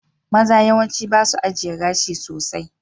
Maza yawanci ba su ajiye gashi sosai.